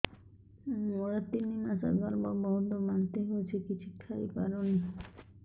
ମୋର ତିନି ମାସ ଗର୍ଭ ବହୁତ ବାନ୍ତି ହେଉଛି କିଛି ଖାଇ ପାରୁନି